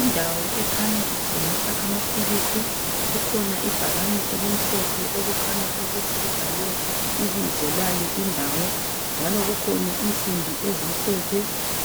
indawo ekhanya ithengisa amaphilisi kukhona ibhakane elimhophe okukhanya ukuthi libhalwe ibizo lale indawo njalo kukhona insimbi ezimhlophe